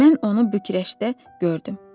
Mən onu Büqrəşdə gördüm.